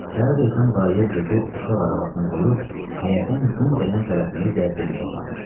Səhər tezdən dayə Cekini uşaq arabasına qoyub həyətin gün dəyən tərəfində gəzdirməyə çıxarmışdı.